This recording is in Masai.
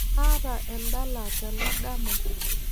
Kaata endala tena dama